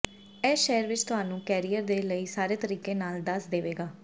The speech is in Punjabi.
ਇਸ ਸ਼ਹਿਰ ਵਿੱਚ ਤੁਹਾਨੂੰ ਕੈਰੀਅਰ ਦੇ ਲਈ ਸਾਰੇ ਤਰੀਕੇ ਨਾਲ ਦੱਸ ਦੇਵੇਗਾ